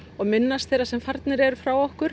og minnast þeirra sem farnir eru frá okkur